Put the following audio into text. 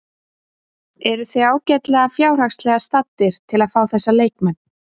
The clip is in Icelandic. Eruð þið ágætlega fjárhagslega staddir til að fá þessa leikmenn?